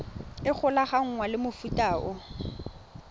e golaganngwang le mofuta o